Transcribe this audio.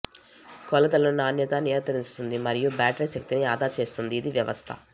కొలతలను నాణ్యత నియంత్రిస్తుంది మరియు బ్యాటరీ శక్తిని ఆదా చేస్తుంది ఇది వ్యవస్థ